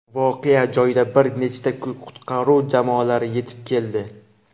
Voqea joyiga bir nechta qutqaruv jamoalari yetib keldi.